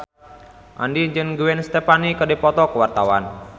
Andien jeung Gwen Stefani keur dipoto ku wartawan